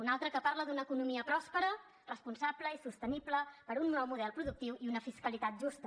un altre que parla d’una economia pròspera responsable i sostenible per un nou model productiu i una fiscalitat justa